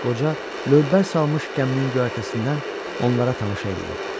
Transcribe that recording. Qoca lövbər salmış gəminin göyərtəsindən onlara tamaşa eləyirdi.